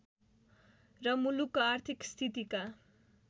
र मुलुकको आर्थिक स्थितिका